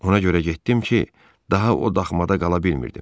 Ona görə getdim ki, daha o daxmada qala bilmirdim.